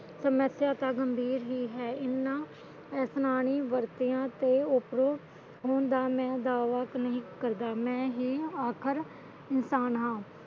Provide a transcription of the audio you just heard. ਸਮੱਸਿਆ ਤਦ ਹੁੰਦੀ ਰਹੀ ਹੈ ਇਹਨਾਂ ਇਨਸਾਨੀ ਵਰਤੀਆਂ ਤੋਂ ਉੱਪਰੋਂ ਹੋਂਦਾ ਦਾ ਦਾਵਾ ਨਹੀਂ ਕਰਦਾ ਮੈਂ ਹੀ ਆਖ਼ਰ ਕੀ ਪਾਣਾ